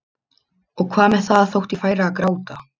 Og hvað með það þótt ég færi að gráta?